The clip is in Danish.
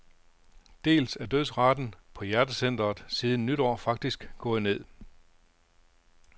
Dels er dødsraten på hjertecentret siden nytår faktisk gået ned.